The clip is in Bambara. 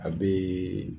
A bɛ